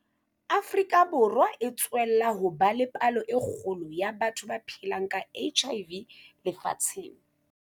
Afrika Borwa e tswella ho ba le palo e kgolo ya batho ba phelang ka HIV lefatsheng.